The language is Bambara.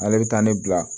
Ale bɛ taa ne bila